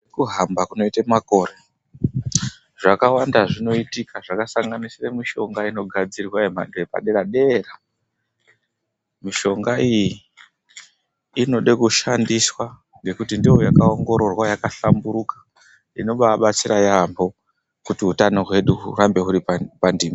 Kuhamba kunoite makore zvakawanda zvinoitika zvakasanganise mishonga inogadzirwa yemhando yepadera dera. Mishonga iyi inode kushandiswa ngekuti ndiyo yakaongororwa yakahlamburuka inobabatsira yamho kuti utano hwedu hurambe huri pandima.